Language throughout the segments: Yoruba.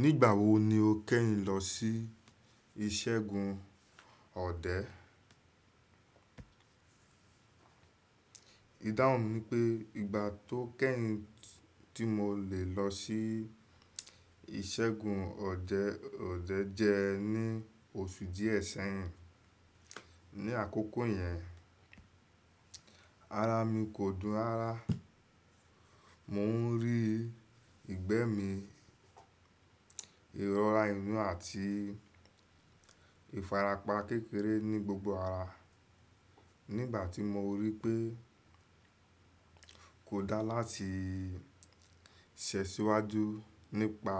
Nígbà wo ni o kẹ́yin lọ sí ìṣẹ́gun ọ̀dẹ́? Ìdáhùn mi pé ìgbà tó kẹ́yìn tí mo lè lọ sí iṣẹ́gun ọdẹ ọdẹ jẹ́ ní oṣù díẹ̀ ṣẹ́yìn. Ní àkókò yẹn, ara mi kò dùn rárá. Mò ń rí ìgbẹ́ mi, ìrọ̀rà inú àti ìfarapa kékeré ní gbogbo ara. Nígbà tí mo rí pé kò dáa láti ṣe síwájú nípa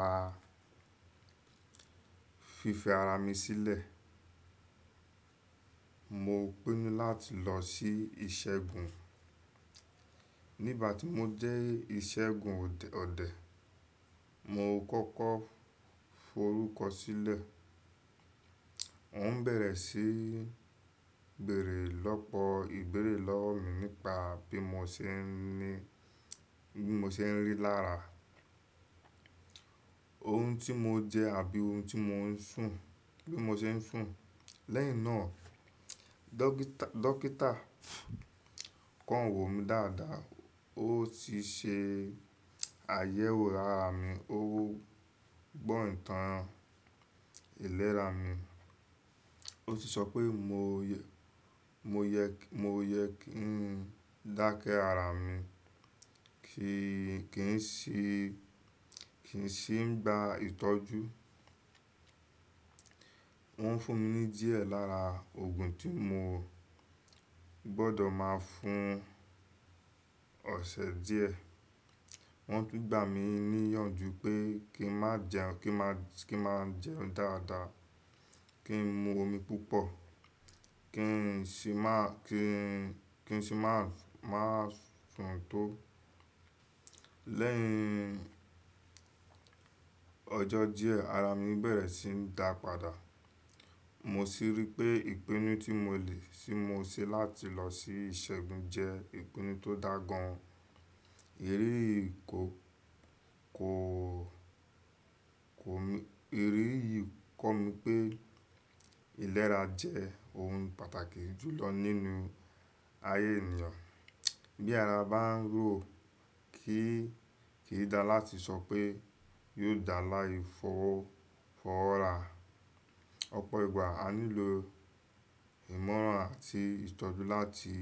fífi ara mi sílẹ̀, mo pinnu láti lọ sí iṣẹ́gun. Nígbà tí mó jẹ́ ìṣẹ́gun ọ̀dẹ̀, mo kọ́kọ́ forúkọ sílẹ̀. Mò ń bẹ̀rẹ̀ síí bèèrè lọ́pọ̀ ìbéèrè lọ́wọ́ mi nípa bí mo ṣe ń rí lára, ohun tí mo jẹ àbí ohun tí mo ń sùn, bí mo ṣe ń sùn Lẹ́yìn náà, dọ́kítà kọàn wò mí dáadáa. Ó ti ṣe àyẹ̀wò ara mi, ó gbọ́ ìtàn ìlera mi, ó sì sọ pé mo yẹ kí n dákẹ́ ara mi, kì í sì ń gba ìtọ́jú. Wọ́n fún mi ní díẹ̀ lára oògùn tí mo gbọdọ̀ máa fún ọ̀sẹ̀ díẹ̀. Wọ́n tún gbà mí níyànjú pé kí n máa jẹun dáadáa, kí n mu omi púpọ̀, kí n sì má fún tó. Lẹ́yìn ọjọ́ díẹ̀, ara mi bẹ̀rẹ̀ sí ń dàpàdà. Mo sì rí pé ìpinnu tí mo lè tí mo ṣe láti lọ sí ìṣẹ́gun jẹ ìpinnu tó dáa gan-an. Èyí yìí kọ́ mi pé ìlera jẹ́ ohun pàtàkì jùlọ nínú ayé ènìyàn. Bí ara bá ń rò ó, kì í dáa láti sọ pé yóò dáa láì fọwọ́ ra Ọ̀pọ̀ ìgbà a nílò ìmọ̀ràn àti ìtọ́jú láti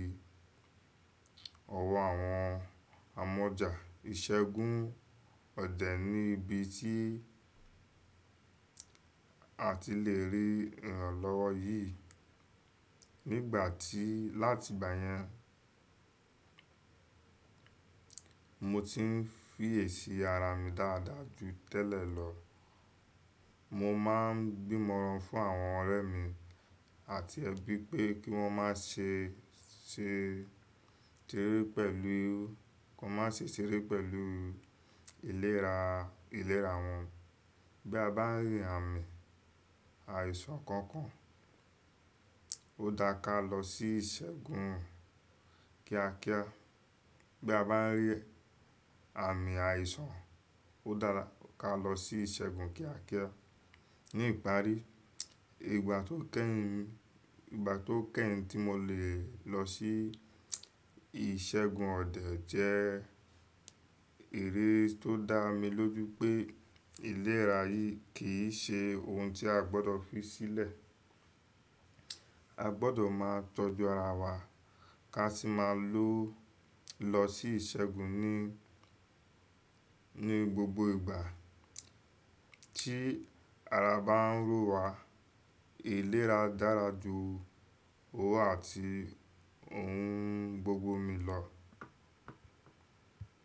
ọwọ́ àwọn amọ̀jà. Ìṣẹ́gun ọ̀dẹ̀ ni ibi tí a ti lè rí ìrànlọ́wọ́ yìí. Láti ìgbà yẹn, mo ti ń fìyè sí ara mi dáadáa ju tẹ́lẹ̀ lọ. Mo máa ń gbímọran fún àwọn ọ̀rẹ́ mi àti ẹbí pé kí wọ́n má ṣe ṣeré pẹ̀lú ìléra wọn. Bí a bá ń rí àmì àìsàn kankan, ó dáa láti lọ sí ìṣẹ́gun kíákíá. Ní ìparí, ìgbà tó kẹ́yìn tí mo lè lọ sí ìṣẹ́gun ọ̀dẹ̀ jẹ́ eré tó dá mi lójú pé ìlera yìí kì í ṣe ohun tí a gbọ́dọ̀ fí sílẹ̀. A gbọdọ̀ máa tọ́jú ara wa ká sì máa lọ sí ìṣẹ́gun ní gbogbo ìgbà tí ara bá ń rò wá. Ìlera dára ju owó àti ohun gbogbo míì lọ.